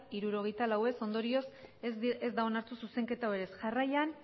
hirurogeita lau ez ondorioz ez da onartu zuzenketa hau ere ez jarraian